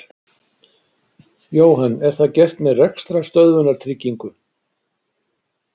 Jóhann: Er það gert með rekstrarstöðvunartryggingu?